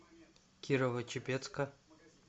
кирово чепецка